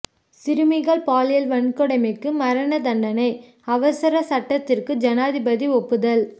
சிறுமிகள் பாலியல் வன்கொடுமைக்கு மரண தண்டனை அவசர சட்டத்திற்கு ஜனாதிபதி ஒப்புதல்